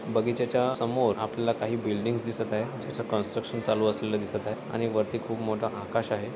बगीच्या च्या समोर आपल्याला काही बिल्डींग्स दिसत आहे ज्याच कंस्ट्रकशन चालू असलेल दिसत आहे आणि वरती खूप मोठा आकाश आहे.